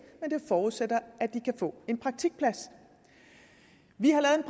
men det forudsætter at de kan få en praktikplads vi har lavet